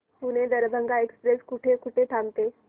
Pune Darbhanga express कुठे कुठे थांबते